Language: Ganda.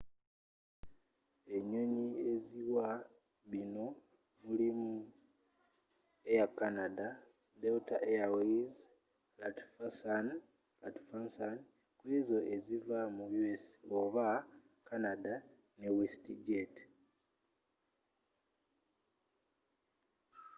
enyonyi eziwa binno mulimu air canada delta airlines lufthansa kw'ezo eziva mu u.s. oba canada ne westjet